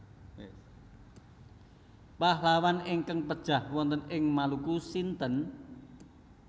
Pahlawan ingkang pejah wonten ing Maluku sinten